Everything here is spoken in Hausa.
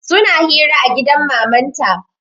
Suna hira a gidan mamanta